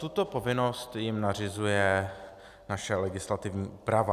Tuto povinnost jim nařizuje naše legislativní úprava.